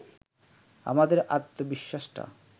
আমাদের আত্মবিশ্বাসটা